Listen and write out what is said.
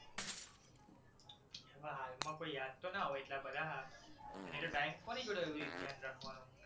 હાલમાં કોઈ યાદ તો ન હોય એટલા બધા અને એટલો time કોની જોડે હોય એવુયે ધ્યાન રાખવાનો